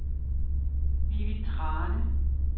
Vivi Thrane